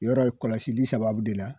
Yɔrɔ kɔlɔsili sababu de la